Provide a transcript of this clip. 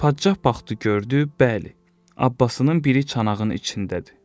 Padşah baxdı gördü, bəli, abbasının biri çanağının içindədir.